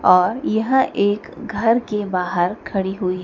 और यह एक घर के बाहर खड़ी हुई--